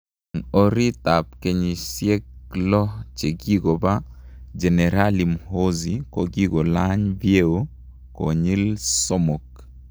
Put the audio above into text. En orit ab keyisiek lo chekikopa, jenerali Muhoozi kokikolayn vyeo koylin somok